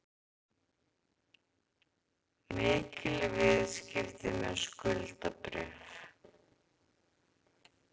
Mikil viðskipti með skuldabréf